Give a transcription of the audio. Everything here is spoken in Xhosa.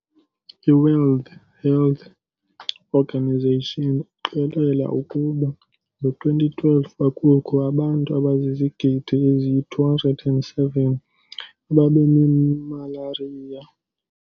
IWorld Health Organization iqikelela ukuba ngo-2012, kwakukho abantu abazizigidi eziyi-207 ababenemalariya.